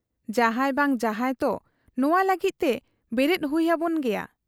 ᱡᱟᱦᱟᱸᱭ ᱵᱟᱝ ᱡᱟᱦᱟᱸᱭ ᱛᱚ ᱱᱚᱣᱟ ᱞᱟᱹᱜᱤᱫ ᱛᱮ ᱵᱮᱨᱮᱫ ᱦᱩᱭ ᱟᱵᱚᱱ ᱜᱮᱭᱟ ᱾'